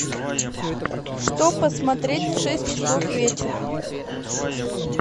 что посмотреть в шесть часов вечера